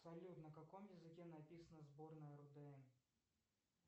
салют на каком языке написана сборная рудн